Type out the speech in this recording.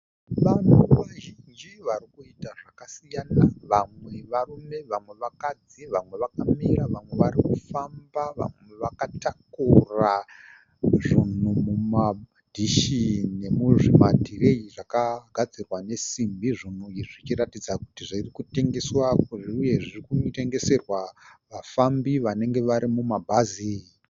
Vanhu vazhinji varikuita zvakasiyana vamwe varume vamwe vakadzi vamwe vakamira vamwe varikufamba vamwe vakatakura zvunhu mumadhishi nemuzvimatireyi zvakagadzirwa nesimbi zvinenge zvichiratidza kuti zvirikutengeswa uye zvirikunotengeserwa vafambi vanenge vari mumabhazi.